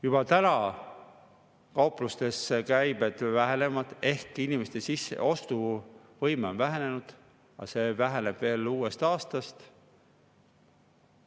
Juba täna kauplustes käibed vähenevad ehk inimeste ostuvõime on vähenenud, aga see väheneb uuest aastast veel.